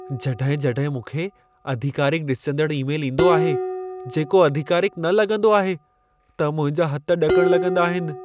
जॾहिं-जॾहिं मूंखे आधिकारिक ॾिसिजंदड़ ई-मेल ईंदो आहे, जेको आधिकारिक न लॻंदो आहे, त मुंहिंजा हथ ॾकण लॻंदा आहिनि ।